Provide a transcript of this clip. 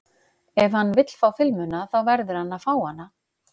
Ef hann vill fá filmuna þá verður hann að fá hana.